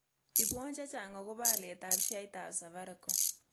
Ipwon chechang agobo alyetap sheaitap safaricom